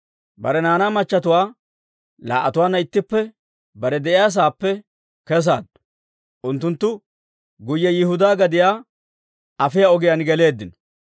bare naanaa machatuwaa laa"atuwaanna ittippe bare de'iyaasaappe kesaaddu. Unttunttu guyye Yihudaa gadiyaa afiyaa ogiyaan geleeddino.